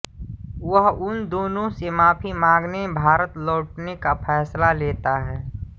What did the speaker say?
वह उन दोनों से माफ़ी मांगने भारत लौटने का फ़ैसला लेता है